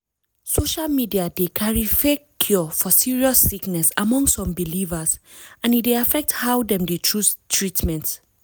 social media dey carry fake cure for serious sickness among some believers and e dey affect how dem dey choose treatment.